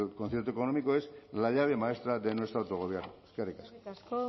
concierto económico es la llave maestra de nuestro autogobierno eskerrik asko eskerrik asko